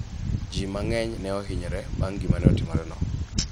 ji mang'eny ne ohinyore bang' gima ne otimore no